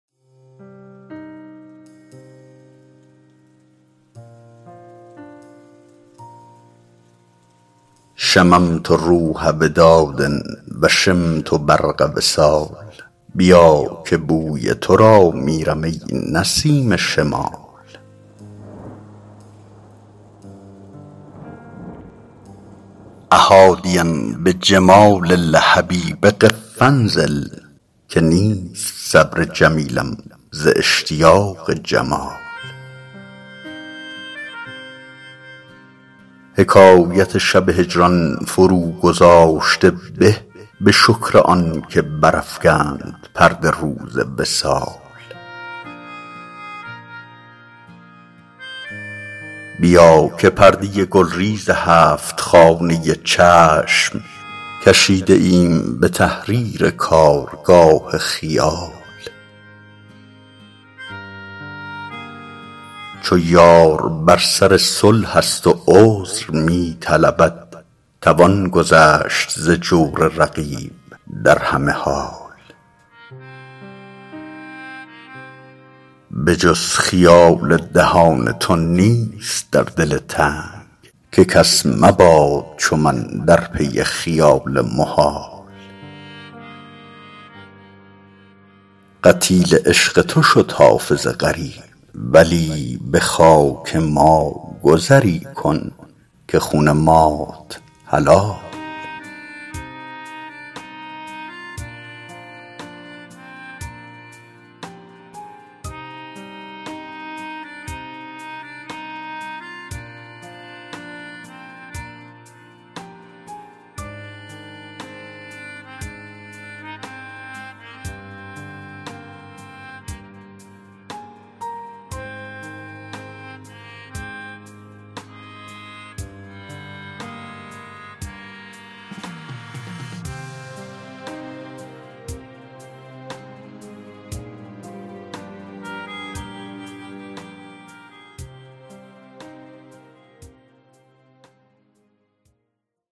شممت روح وداد و شمت برق وصال بیا که بوی تو را میرم ای نسیم شمال أ حادیا بجمال الحبیب قف و انزل که نیست صبر جمیلم ز اشتیاق جمال حکایت شب هجران فروگذاشته به به شکر آن که برافکند پرده روز وصال بیا که پرده گلریز هفت خانه چشم کشیده ایم به تحریر کارگاه خیال چو یار بر سر صلح است و عذر می طلبد توان گذشت ز جور رقیب در همه حال به جز خیال دهان تو نیست در دل تنگ که کس مباد چو من در پی خیال محال قتیل عشق تو شد حافظ غریب ولی به خاک ما گذری کن که خون مات حلال